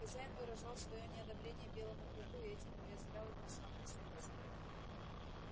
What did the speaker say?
хозяин выражал своё неодобрение белому клыку и этим уязвлял его в самое сердце